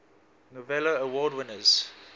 novello award winners